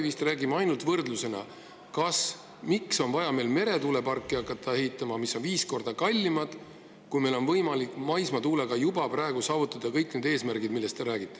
ainult võrdlusena, miks on meil vaja hakata ehitama meretuuleparke, mis on viis korda kallimad, kui meil on võimalik maismaatuulega juba praegu saavutada kõik need eesmärgid, millest te räägite.